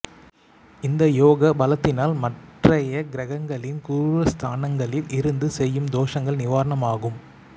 இந்த யோக பலத்தினால் மற்றைய கிரகங்களிள் குரூரஸ்தானங்களில் இருந்து செய்யுந் தோஷங்கள் நிவாரணமாகும்